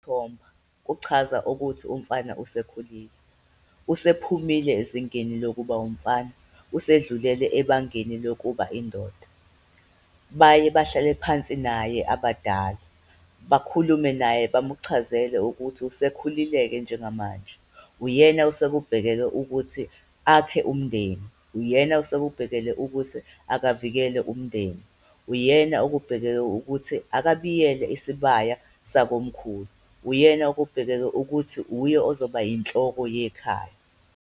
Thomba kuchaza ukuthi umfana usekhulile, usephumile ezingeni lokuba umfana, usedlulele ebangeni lokuba indoda. Baye bahlale phansi naye abadala, bakhulume naye, bamukuchazele ukuthi usekhulile-ke njengamanje, uyena osekubhekeke ukuthi akhe umndeni, uyena esekubhekele ukuthi akavikele umndeni. Uyena okubhekeke ukuthi akabiyele isibaya sakomkhulu, uyena okubhekeke ukuthi wuye ozoba inhloko yekhaya.